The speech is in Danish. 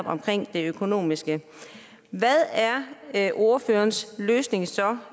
omkring det økonomiske hvad er ordførerens løsning så